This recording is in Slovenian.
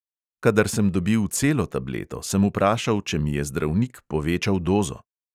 Kadar sem dobil celo tableto, sem vprašal, če mi je zdravnik povečal dozo.